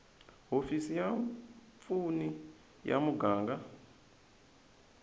hofisi ya vapfuni ya muganga